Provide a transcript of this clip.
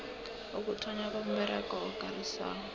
ukuthonnywa komberego okarisako